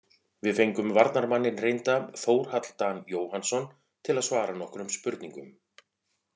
Við fengum varnarmanninn reynda Þórhall Dan Jóhannsson til að svara nokkrum spurningum.